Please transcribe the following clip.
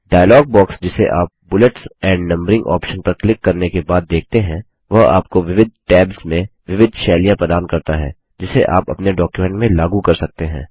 dialogue box जिसे आप bullets and numbering option पर क्लिक करने के बाद देखते हैं वह आपको विविध टैब्स में विविध शैलियाँ स्टाइल्स प्रदान करता है जिसे आप अपने डॉक्युमेंट में लागू कर सकते हैं